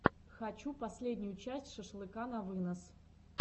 хочу последнюю часть шашлыка на вынос